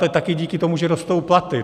A také díky tomu, že rostou platy.